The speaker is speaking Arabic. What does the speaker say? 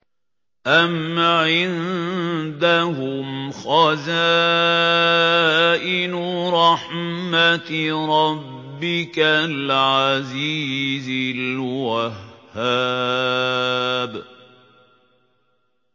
أَمْ عِندَهُمْ خَزَائِنُ رَحْمَةِ رَبِّكَ الْعَزِيزِ الْوَهَّابِ